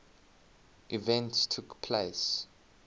events took place